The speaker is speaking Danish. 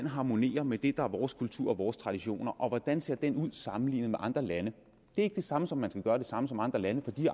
harmonerer med det der er vores kultur og vores traditioner og hvordan ser det ud sammenlignet med andre lande det er ikke det samme som at man skal gøre det samme som andre lande for de